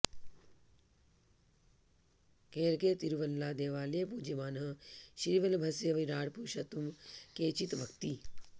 केरळे तिरुवल्ला देवालये पूज्यमानः श्रीवल्लभस्य विराट् पुरुषत्वम् केचित् वक्ति